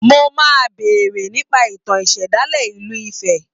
Mo máa béèrè nípa ìtàn ìṣẹ̀dálẹ̀ ìlú Ifẹ̀